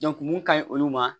mun ka ɲi olu ma